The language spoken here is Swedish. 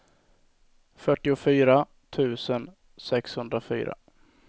fyrtiofyra tusen sexhundrafyra